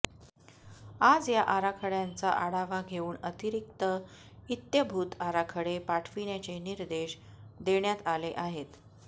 आज या आराखड्यांचा आढावा घेऊन अतिरिक्त इत्यंभूत आराखडे पाठविण्याचे निर्देश देण्यात आले आहेत